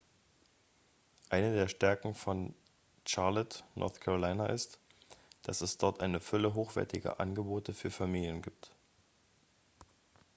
eine der stärken von charlotte north carolina ist dass es dort eine fülle hochwertiger angebote für familien gibt